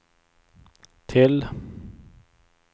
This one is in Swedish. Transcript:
till